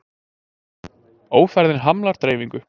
Ófærðin hamlar dreifingu